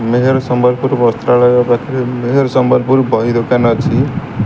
ମେହେର୍ ସମ୍ବଲପୁର୍ ବସ୍ତ୍ରାଳୟ ପାଖରେ ମେହେର୍ ସମ୍ବଲପୁର୍ ବହି ଦୋକାନ ଅଛି।